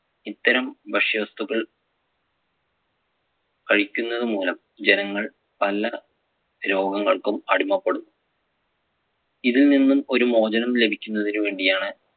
ഇത്തരം ഭക്ഷ്യവസ്തുക്കൾ കഴിക്കുന്നതുമൂലം ജനങ്ങൾ പല രോഗങ്ങൾക്കും അടിമപ്പെടും. ഇതിൽ നിന്നും ഒരു മോചനം ലഭിക്കുന്നതിനു വേണ്ടിയാണ്,